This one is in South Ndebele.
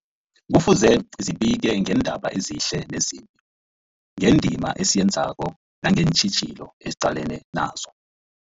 Kufuze zibike ngeendaba ezihle nezimbi, ngendima esiyenzako nangeentjhijilo esiqalene nazo.